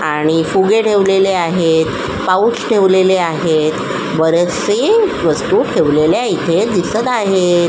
आणि फुगे ठेवलेले आहेत पाऊस ठेवलेले आहेत बरेचसे वस्तू ठेवलेल्या इथे दिसत आहेत.